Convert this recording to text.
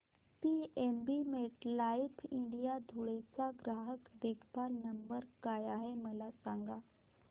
PNB MetLife India Dhule चा ग्राहक देखभाल नंबर काय आहे मला सांगा